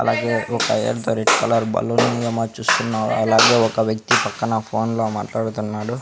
అలాగే ఒక red colour balloon చూస్తున్నావా అలాగే ఒక వ్యక్తి పక్కన ఫోన్లో మాట్లాడుతున్నాడు.